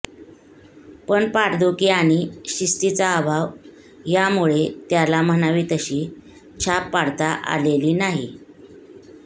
पण पाठदुखी आणि शिस्तीचा अभाव यामुळे त्याला म्हणावी तशी छाप पाडता आलेली नाही